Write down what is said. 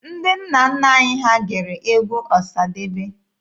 Ndị nna nna anyị ha gere egwu Ọsadebe.